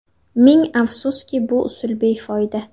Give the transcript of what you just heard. Ming afsuski, bu usul befoyda.